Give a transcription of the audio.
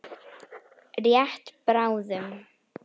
Rétt bráðum.